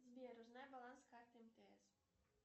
сбер узнай баланс карты мтс